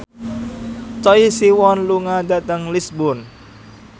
Choi Siwon lunga dhateng Lisburn